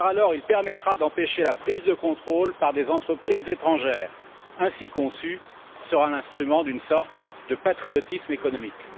Il permettra d'empêcher la prise de contrôle par des entreprises étrangères. Le double vote, ainsi conçu, sera l'instrument d'une sorte de patriotisme économique.